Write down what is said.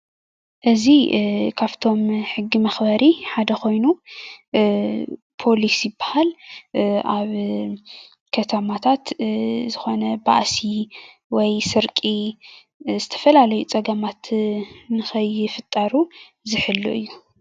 እዚ ካብቶም ሕጊ መኽበሪ ሓደ ኮይኑ ፖሊስ ይባሃል፡፡ ኣብ ከተማታት ዝኾነ ባእሲ ወይ ስርቂ ዝተፈላለዩ ፀገማት ንከይፍጠሩ ዝሕሉ እዩ፡፡